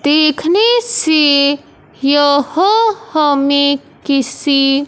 देखने से यह हमें किसी--